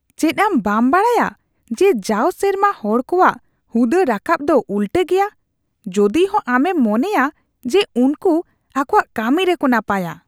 ᱪᱮᱫ ᱟᱢ ᱵᱟᱢ ᱵᱟᱲᱟᱭᱟ ᱡᱮ ᱡᱟᱣ ᱥᱮᱨᱢᱟ ᱦᱚᱲ ᱠᱚᱣᱟᱜ ᱦᱩᱫᱟᱹ ᱨᱟᱠᱟᱵ ᱫᱚ ᱩᱞᱴᱟᱹ ᱜᱮᱭᱟ ᱡᱚᱫᱤᱦᱚᱸ ᱟᱢᱮᱢ ᱢᱚᱱᱮᱭᱟ ᱡᱮ ᱩᱱᱠᱩ ᱟᱠᱚᱣᱟᱜ ᱠᱟᱹᱢᱤ ᱨᱮᱠᱚ ᱱᱟᱯᱟᱭᱟ ?